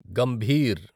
Gambhir